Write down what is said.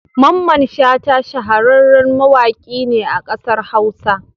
Mamman Shata shahararren mawaƙi ne a kasar Hausa.